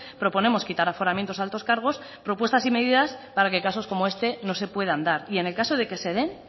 proponemos quitar aforamientos a altos cargos propuestas y medidas para que casos como este no se puedan dar y en el caso de que se den